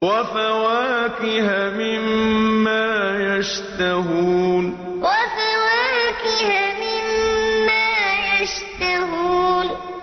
وَفَوَاكِهَ مِمَّا يَشْتَهُونَ وَفَوَاكِهَ مِمَّا يَشْتَهُونَ